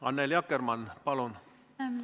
Annely Akkermann, palun!